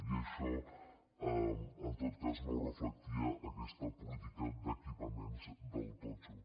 i això en tot cas no ho reflectia aquesta política d’equipaments del totxo